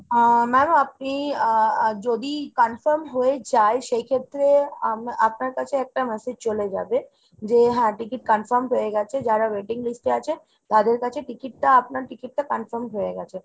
আহ ma'am আপনি আহ যদি confirm হয়ে যায় সেইক্ষেত্রে আপনার কাছে একটা massage চলে যাবে। যে হ্যাঁ ticket confirm হয়েগেছে, যারা waiting list এ আছে তাদের কাছে ticket টা আপনার ticket টা confirm হয়ে গেছে।